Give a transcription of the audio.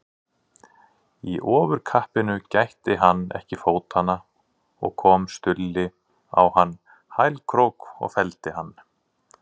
Í ofurkappinu gætti hann ekki fótanna og kom Stulli á hann hælkrók og felldi hann.